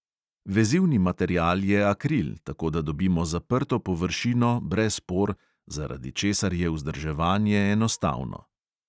Vezivni material je akril, tako da dobimo zaprto površino brez por, zaradi česar je vzdrževanje enostavno.